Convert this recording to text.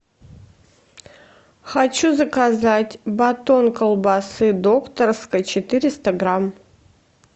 хочу заказать батон колбасы докторской четыреста грамм